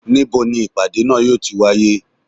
Ni bo ni ipada naa yo tí wàyé?